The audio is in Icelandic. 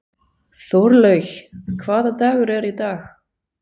Þorlaug, hvaða dagur er í dag?